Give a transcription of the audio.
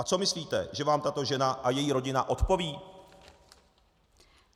A co myslíte, že vám tato žena a její rodina odpoví?